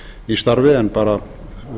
í starfi en bara